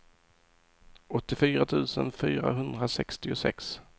åttiofyra tusen fyrahundrasextiosex